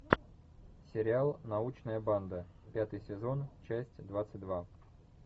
сериал научная банда пятый сезон часть двадцать два